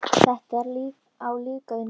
Það á líka við núna.